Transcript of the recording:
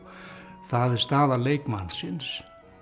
það er staða leikmannsins